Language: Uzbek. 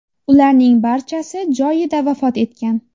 Ularning barchasi joyida vafot etgan.